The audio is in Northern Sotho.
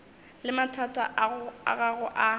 le mathata a gago a